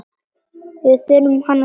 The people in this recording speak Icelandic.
Við þurfum hana strax.